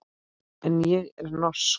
En ég er norsk.